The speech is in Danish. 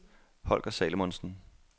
Holger Salomonsen